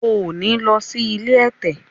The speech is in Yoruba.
o ní ló sì ilé ẹ̀tẹ̀!